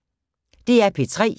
DR P3